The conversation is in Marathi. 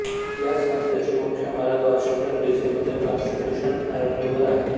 या संस्थेची मुख्य इमारत वॉशिंग्टन डी सी मध्ये कॉन्स्टिट्युशन एव्हन्यूवर आहे